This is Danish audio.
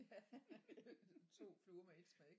Ja 2 fluer med ét smæk